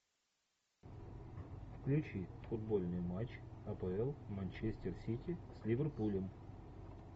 включи футбольный матч апл манчестер сити с ливерпулем